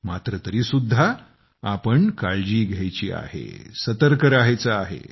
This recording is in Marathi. मात्र तरीसुद्धा आपण काळजी घ्यायची आहे सतर्क राहायचे आहे